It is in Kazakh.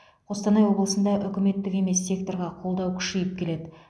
қостанай облысында үкіметтік емес секторға қолдау күшейіп келеді